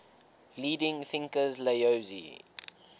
leading thinkers laozi